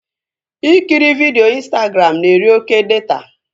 Ikiri vidio Ịnstagram na-eri oké data